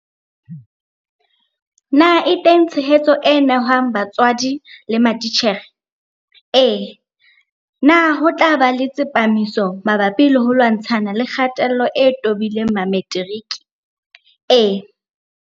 Na e teng tshehetso e nehwang batswadi le matitjhere? Ee. Na ho tla ba le tsepamiso mabapi le ho lwantshana le kgatello e tobileng Mametiriki? Ee.